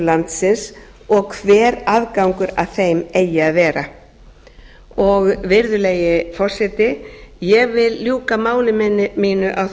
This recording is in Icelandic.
landsins og hver aðgangur að þeim eigi að vera virðulegi forseti ég vil ljúka máli mínu á